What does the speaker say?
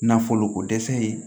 Nafolo ko dɛsɛ ye